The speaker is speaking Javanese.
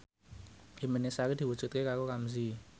impine Sari diwujudke karo Ramzy